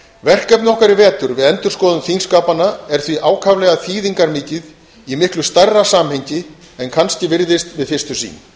verkefni okkar í vetur við endurskoðun þingskapanna er því ákaflega þýðingarmikið í miklu stærra samhengi en kannski virðist við fyrstu sýn